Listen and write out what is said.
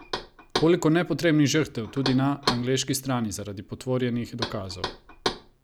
Koliko nepotrebnih žrtev, tudi na angleški strani, zaradi potvorjenih dokazov!